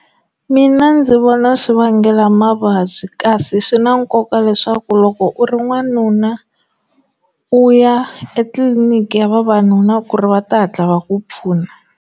Mina ndzi vona swi vangela mavabyi kasi swi na nkoka leswaku loko u ri n'wanuna u ya etliliniki ya vavanuna ku ri va ta hatla va ku pfuna.